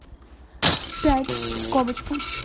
пять скобочка